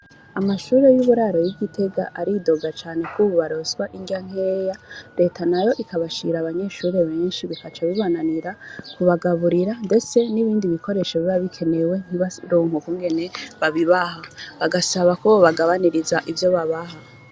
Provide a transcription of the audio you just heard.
Amashure y'uburaro y'i Gitega, aridoga cane ko ubu baronswa indya nkeya, Leta nayo ikabashira abanyeshure benshi, bigaca bibananira kubagaburira ndetse, n'ibindi bikoresho biba bikenewe ntibaronke ukungene babibaha, bagasaba ko bobagabaniriza ivyo babaha.